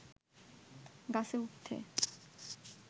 গাছে উঠতে